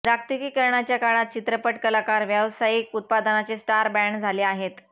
जागतिकीकरणाच्या काळात चित्रपट कलाकार व्यावसायिक उत्पादनाचे स्टार ब्रँड झाले आहेत